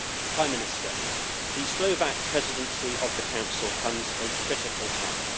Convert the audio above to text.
Prime Minister, the Slovak Presidency of the Council comes at a critical time.